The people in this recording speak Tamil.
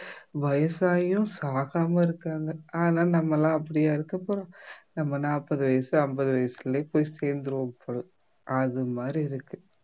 வயசாகியும் சாகாம இருக்காங்க ஆனா நம்மெல்லாம் அப்படியா இருக்க போறோம் நம்ம நாற்பது வயசு ஐம்பது வயசுலயே போய் சேர்ந்திருவோம் போல அது மாதிரி இருக்கு